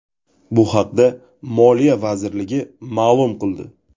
Bu haqda Moliya vazirligi ma’lum qildi .